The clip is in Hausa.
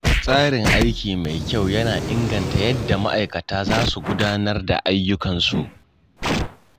Tsarin aiki mai kyau yana inganta yadda ma'aikata za su gudanar da ayyukansu.